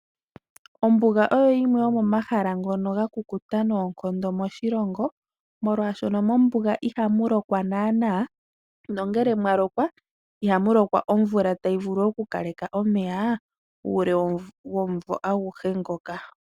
Ombuga oyo yimwe yomomahala ngono ga kukuta noonkondo moshilongo molwaashono mOmbuga iha mu lokwa naana, nongele mwa lokwa iha mulokwa omvula ta yivulu oku kaleke omeya uule womumvo aguhe ngoka.